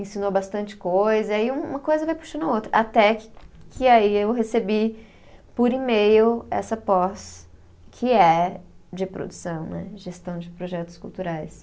ensinou bastante coisa, e aí um uma coisa vai puxando a outra, até que que aí eu recebi por e-mail essa pós, que é de produção, né, gestão de projetos culturais.